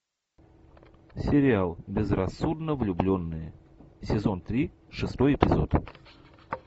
сериал безрассудно влюбленные сезон три шестой эпизод